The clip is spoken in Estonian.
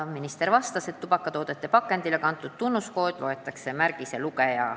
Minister vastas, et tubakatoodete pakendile kantud tunnuskoodi loeb märgiselugeja.